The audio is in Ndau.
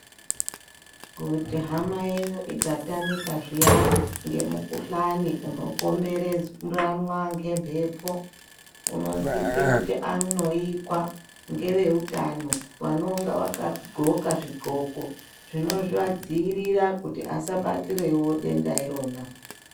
Kuti hama yenyu ikatamika zviyani ngemukuhlani unopombererwana ngembepo unosise kuti anoikwa ngeveutano vanonga vakadhloka zvidhloko zvinozvadziirira kuti asabatirewo denda irona.